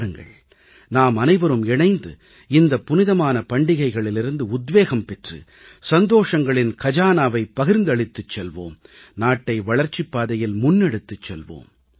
வாருங்கள் நாம் அனைவரும் இணைந்து இந்த புனிதமான பண்டிகளிலிருந்து உத்வேகம் பெற்று சந்தோஷங்களின் கஜானாவை பகிர்ந்தளித்துச் செல்வோம் நாட்டை வளர்ச்சிப் பாதையில் முன்னெடுத்துச் செல்வோம்